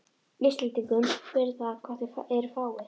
Íslendingum fyrir það hvað þeir eru fáir.